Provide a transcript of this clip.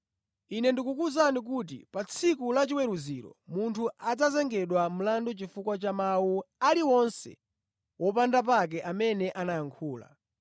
Ine ndikukuwuzani kuti pa tsiku la chiweruziro munthu adzazengedwa mlandu chifukwa cha mawu aliwonse wopanda pake amene anayankhula.